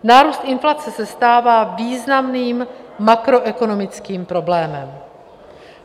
Nárůst inflace se stává významným makroekonomickým problémem.